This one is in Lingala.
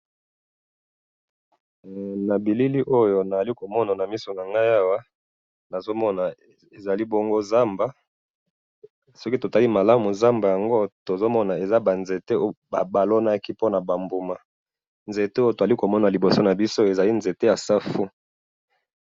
Na moni nzete ya safu na zamba balonaki.